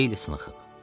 O xeyli sınıxıb.